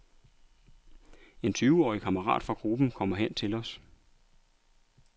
En tyveårig kammerat fra gruppen kommer hen til os.